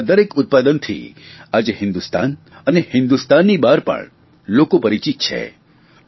અમૂલના દરેક ઉત્પાદનથી આજે હિંદુસ્તાન અને હિંદુસ્તાનની બહાર પણ લોકો પરિચિત છે